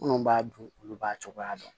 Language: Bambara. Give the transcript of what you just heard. Minnu b'a dun olu b'a cogoya dɔn